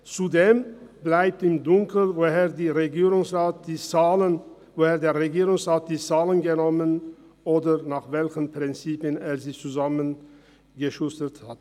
Zudem bleibt im Dunkeln, woher der Regierungsrat die Zahlen genommen hat, oder nach welchen Prinzipien er sie zusammengeschustert hat.